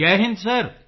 ਜੈ ਹਿੰਦ ਸਰ